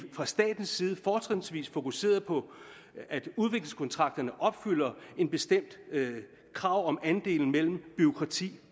fra statens side fortrinsvis fokuserede på at udviklingskontrakterne opfylder et bestemt krav om andelen mellem bureaukrati